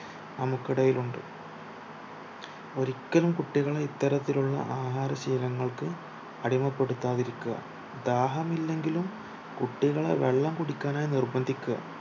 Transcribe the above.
നമുക്കിടയിലുണ്ട് കുട്ടികളെ ഇത്തരത്തിലുള്ള ആഹാരശീലങ്ങൾക്ക് അടിമപ്പെടുത്താതിരിക്കുക ദാഹമില്ലെങ്കിലും കുട്ടികളെ വള്ളം കുടിക്കാനായി നിർബന്ദിക്കാ